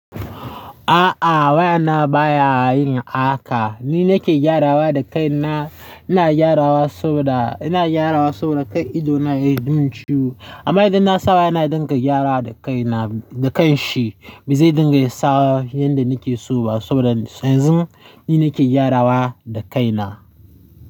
A'a wayana baya yin haka. Ni nake gyarawa da kaina. Ina gyarawa saboda, ina gyarawa saboda kar idona ya min ciwo amma idan na saba yana dinga gyarawa da kaina, da kanshi. Ba zai dinga sawa yanda nake so ba saboda yanzin ni nake gyarawa da kaina.